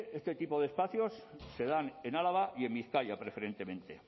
este tipo de espacios se dan en álava y en bizkaia preferentemente